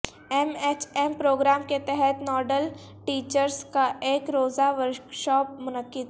M H M programme کے تحت nodal teachers کا ایک روزہ ورکشاپ منعقد